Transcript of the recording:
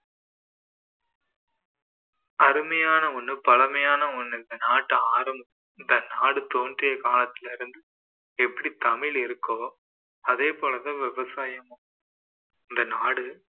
அருமையான ஒண்ணு பழமையான ஒண்ணு இந்த நாட்ட ஆர~ இந்த நாடு தோன்றிய காலத்திலருந்து எப்படி தமிழ் இருக்கோ அதே போல தான் விவசாயமும் இந்த நாடு